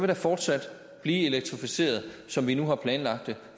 der fortsat blive elektrificeret som vi nu har planlagt det